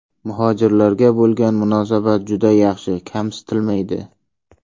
Muhojirlarga bo‘lgan munosabat juda yaxshi, kamsitilmaydi.